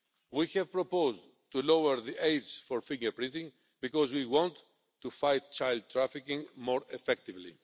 We have proposed lowering the age for finger printing because we want to fight child trafficking more effectively.